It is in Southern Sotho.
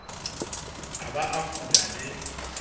a ba a fola le